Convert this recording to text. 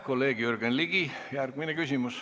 Kolleeg Jürgen Ligi, järgmine küsimus.